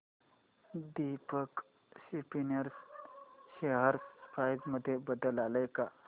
Deepak spinners share price मध्ये बदल आलाय का